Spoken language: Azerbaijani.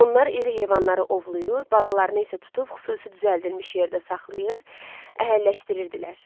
Onlar iri heyvanları ovlayır, balalarını isə tutub xüsusi düzəldilmiş yerdə saxlayır, əhəlləşdirirdilər.